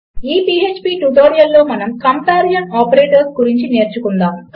ఈ పీఎచ్పీ ట్యుటోరియల్లో మనము కంపారిజన్ ఆపరేటర్స్ గురించి నేర్చుకుందాము